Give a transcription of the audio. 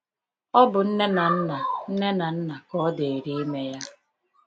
Ọ bụ nne na nna nne na nna ka ọ dịrị ime ya.